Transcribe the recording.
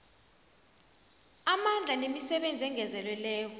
amandla nemisebenzi engezelelweko